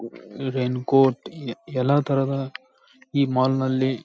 rain coat ಎಲ್ಲ ತರಹದ ಈ ಮಾಲ್ ನಲ್ಲಿ--